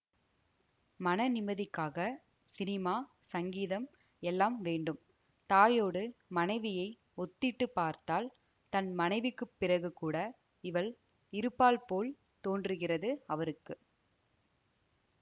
மன நிம்மதிக்காகச் சினிமா சங்கீதம் எல்லாம் வேண்டும் தாயோடு மனைவியை ஒத்திட்டுப் பார்த்தால் தன் மனைவிக்கு பிறகுகூட இவள் இருப்பாள் போல் தோன்றுகிறது அவருக்கு